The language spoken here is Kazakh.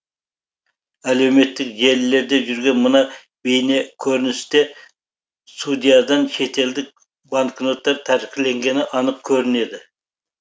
әлеуметтік желілерде жүрген мына бейнекөріністе судьядан шетелдік банкноттар тәркіленгені анық көрінеді